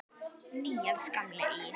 Níels gamli í